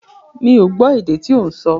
Mi ò gbọ́ èdè tí ó ń sọ.